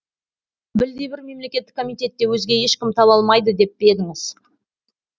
білдей бір мемлекеттік комитетте өзге ешкім таба алмайды деп пе едіңіз